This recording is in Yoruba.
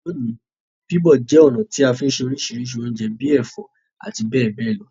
Loní, bíbọ̀ je ọ̀nà ti a fi n se orísìrísì ounje bi ẹ̀fó àti béè béè lo